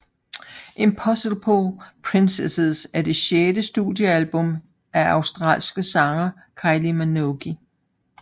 Impossible Princess er det sjette studiealbum af australske sanger Kylie Minogue